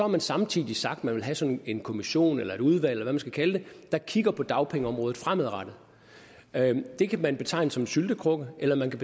man samtidig sagt at man vil have sådan en kommission eller et udvalg man skal kalde det der kigger på dagpengeområdet fremadrettet det kan man betegne som en syltekrukke eller man kan